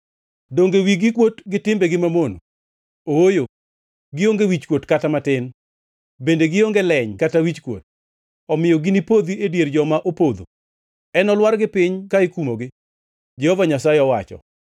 Donge wigi kuot gi timbegi mamono? Ooyo, gionge wichkuot kata matin; bende gionge leny kata wichkuot. Omiyo ginipodhi e dier joma opodho; enolwargi piny ka ikumogi, Jehova Nyasaye owacho.